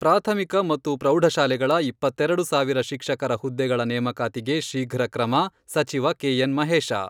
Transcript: ಪ್ರಾಥಮಿಕ ಮತ್ತು ಪ್ರೌಢ ಶಾಲೆಗಳ ಇಪ್ಪತ್ತೆರೆಡು ಸಾವಿರ ಶಿಕ್ಷಕರ ಹುದ್ದೆಗಳ ನೇಮಕಾತಿಗೆ ಶೀಘ್ರ ಕ್ರಮ ಸಚಿವ ಕೆ. ಎನ್, ಮಹೇಶ.